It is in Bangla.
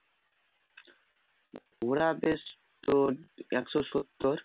ওরা বেশ তোর একশো সত্তর